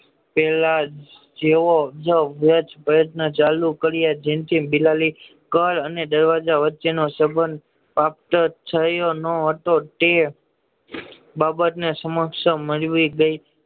પેલા જેવો જ પ્રયત્ન સારું કરવી જેનથી બિલાડી પર અને વચ્ચે નો સંબંધ પ્રાપ્ત થયો ન હતો તે બાબત ને સમક્ષ મેળવી